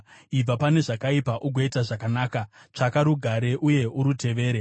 Ibva pane zvakaipa ugoita zvakanaka; tsvaka rugare uye urutevere.